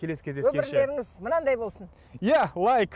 келесі өмірлеріңіз мынандай болсын иә лайк